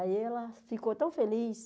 Aí ela ficou tão feliz.